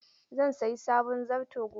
Zan sayi sabon zarto gobe.